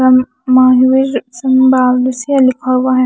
लिखा हुआ है।